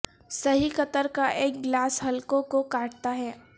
صحیح قطر کا ایک گلاس حلقوں کو کاٹتا ہے